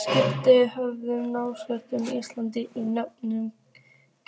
Skipin fjögur nálguðust Ísland í nöprum